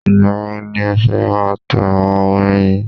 Ìgbà wo ni ẹ fẹ́ máa ta àwo orin yín?